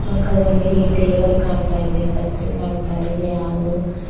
ಪಕ್ಕದಲ್ಲಿ ಈ ಟೇಬಲ್ ಕಾಣ್ತಾ ಇದೆ ಕತ್ರಿ ಕಾಣ್ತಾ ಇದೆ ಹಾಗು--